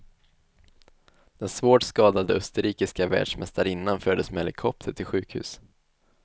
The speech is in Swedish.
Den svårt skadade österrikiska världsmästarinnan fördes med helikopter till sjukhus.